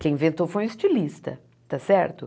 Quem inventou foi um estilista, tá certo?